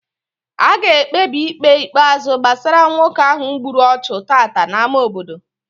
A ga-ekpebi Ikpe ikpeazụ gbasara nwoke ahụ gburu ọchụ tata n'ámá obodo